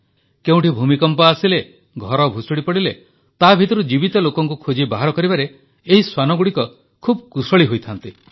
କେଉଁଠି ଭୂମିକମ୍ପ ଆସିଲେ ଘର ଭୁଷୁଡ଼ିପଡ଼ିଲେ ତା ଭିତରୁ ଜୀବିତ ଲୋକଙ୍କୁ ଖୋଜି ବାହାର କରିବାରେ ଏହି ଶ୍ୱାନଗୁଡ଼ିକ ଖୁବ୍ କୁଶଳୀ ହୋଇଥାନ୍ତି